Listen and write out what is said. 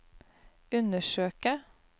undersøke